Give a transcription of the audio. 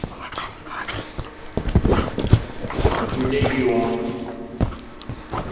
мегион